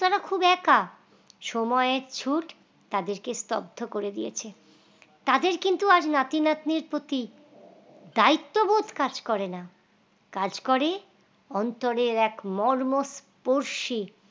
খুব একা সময়ের ছোট তাদেরকে স্তব্ধ করে দিয়েছে তাদের কিন্তু আর নাতি নাতনির প্রতি দায়িত্ববোধ কাজ করে না কাজ করে অন্তরের এক মর্ম স্পর্শিক